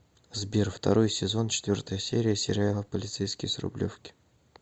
сбер второй сезон четвертая серия сериала полицейский с рублевки